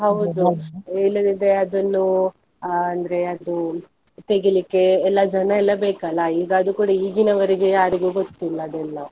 ಇಲ್ಲದಿದ್ರೆ ಅದನ್ನು ಆ ಅಂದ್ರೆ ಅದು ತೆಗಿಲಿಕ್ಕೆ ಎಲ್ಲ ಜನ ಎಲ್ಲ ಬೇಕಲ್ಲ ಈಗ ಅದು ಕೂಡ ಈಗಿನವರಿಗೆ ಯಾರಿಗೂ ಗೊತ್ತಿಲ್ಲ ಅದೆಲ್ಲ.